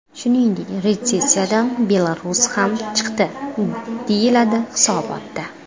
Shuningdek, retsessiyadan Belarus ham chiqdi, deyiladi hisobotda.